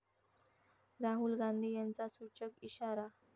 राहुल गांधी यांचा सूचक इशारा